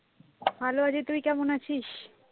ভালো আছি, তুই কেমন আছিস?